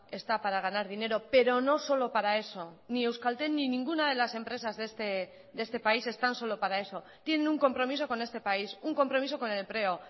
está para ganar dinero pero no solo para eso ni euskaltel ni ninguna de las empresas de este país están solo para eso tienen un compromiso con este país un compromiso con el empleo